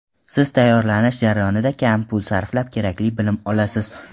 Siz tayyorlanish jarayonida kam pul sarflab kerakli bilim olasiz.